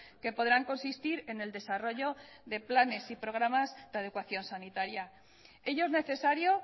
que podrán consistir en el desarrollo de planes y programas de adecuación sanitaria ello es necesario